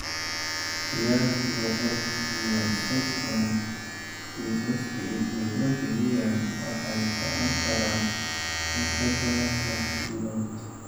Qiyaastii boqolkiba sodhon kiisaska idiopathic EN waxay socon karaan in ka badan liix bilood.